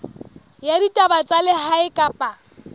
ya ditaba tsa lehae kapa